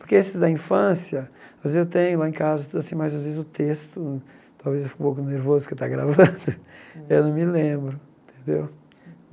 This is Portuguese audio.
Porque esses da infância, às vezes eu tenho lá em casa, então assim mas às vezes o texto, talvez eu fique um pouco nervoso porque está gravando, eu não me lembro, tendeu?